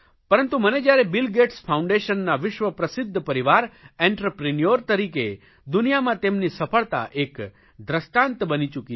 પરંતુ મને જયારે બિલ ગેટ્સ ફાઉન્ડેશનના વિશ્વ પ્રસિધ્ધ પરિવાર એન્ટરપ્રિન્યોર તરીકે દુનિયામાં તેમની સફળતા એક દષ્ટાંત બની ચૂકી છે